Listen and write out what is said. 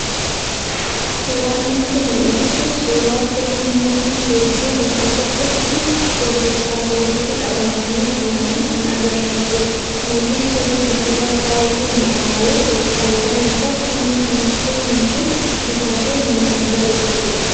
Suuraan nutti mul'atu kun suuraa firii Muuzii hedduu bakka tokkotti gurgurtaaf walitti qabanii jiranii kan agarsiisudha. Muuziin firii biqilaa baay'ee mii'aawu yoo ta'u, faayidaan isaas humna nuuf kennuu fi bifa keenya kan bareechudha.